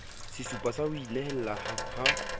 sesupo sa ho inehela ha